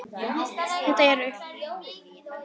Þetta eru